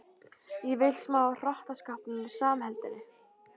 Ég vil smá af hrottaskapnum og samheldninni.